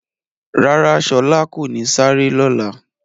Rárá, Shọla kò ní sárẹ̀ lọ́lá.